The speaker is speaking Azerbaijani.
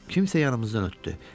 Kimsə yanımızdan ötdü.